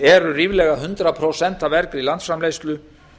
eru ríflega hundrað prósent af vergri landsframleiðslu